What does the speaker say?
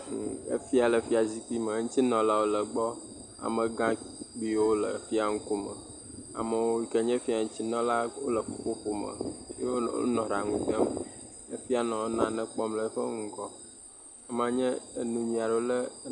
Afia le fia zikpui me eŋyti nɔla wo le egbɔ, amegakpuiwo le fia ŋkume. Ame yike wonye fia ŋutinɔlawo le ƒuƒoƒo me. Wo nɔ ɖaŋu dem. Efia nɔ nane kpɔm le eƒe ŋgɔ.